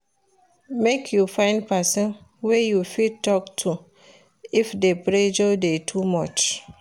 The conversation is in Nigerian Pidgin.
Make you find pesin wey you fit tok to if di pressure dey too much.